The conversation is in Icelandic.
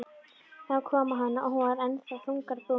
Það kom á hana og hún varð enn þungbúnari.